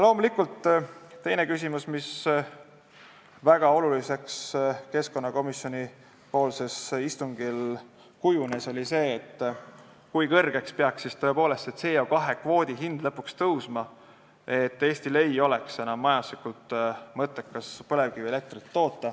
Loomulikult kujunes keskkonnakomisjoni istungil väga oluliseks see küsimus, kui kõrgele peaks siis CO2 kvoodi hind lõpuks tõusma, et Eestil ei oleks enam majanduslikult mõttekas põlevkivielektrit toota.